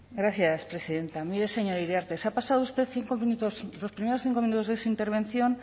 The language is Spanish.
gracias presidenta mire señor iriarte se ha pasado usted cinco minutos los primeros cinco minutos de su intervención